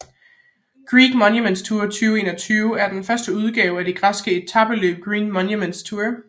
Greek Monuments Tour 2021 er den første udgave af det græske etapeløb Greek Monuments Tour